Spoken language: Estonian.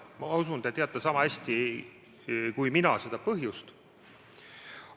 Ma usun, te teate sama hästi kui mina seda põhjust.